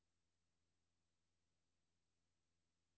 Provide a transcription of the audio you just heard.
Slet teksten markeret med fed.